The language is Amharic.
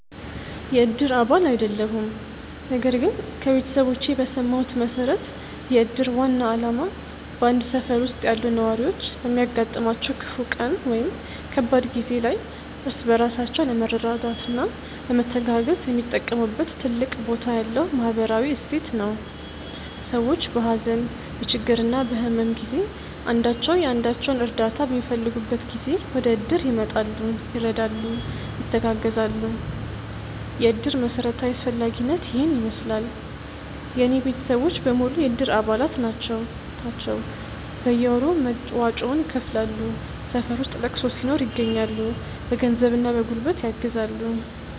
የእድር አባል አይደለሁም ነገር ግን ከቤተሰቦቼ በሰማሁት መሠረት የእድር ዋና ዓላማ በአንድ ሠፈር ውስጥ ያሉ ነዋሪዎች በሚያጋጥማቸው ክፉ ቀን ወይም ከባድ ጊዜ ላይ እርስ በራሳቸው ለመረዳዳትና ለመተጋገዝ የሚጠቀሙበት ትልቅ ቦታ ያለው ማኅበራዊ እሴት ነው። ሰዎች በሀዘን፣ በችግርና በሕመም ጊዜ አንዳቸው የአንዳቸውን እርዳታ በሚፈልጉበት ጊዜ ወደእድር ይመጣሉ፤ ይረዳሉ፣ ይተጋገዛሉ። የእድር መሠረታዊ አስፈላጊነት ይሔን ይመሥላል። የእኔ ቤተሰቦች በሙሉ የእድር አባላት ናቸው ናቸው። በየወሩ መዋጮውን ይከፍላሉ፣ ሠፈር ውስጥ ለቅሶ ሲኖር ይገኛሉ። በገንዘብና በጉልበት ያግዛሉ።